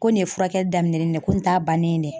Ko nin ye furakɛli daminɛ ni ko in t'a bannen de ye.